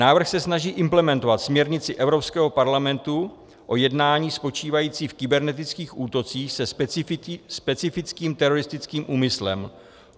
Návrh se snaží implementovat směrnici Evropského parlamentu o jednáních spočívajících v kybernetických útocích se specifickým teroristickým úmyslem.